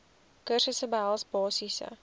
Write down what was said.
kursusse behels basiese